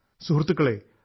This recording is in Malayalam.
കൂട്ടുകാരെ